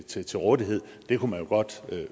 til til rådighed det kunne man jo godt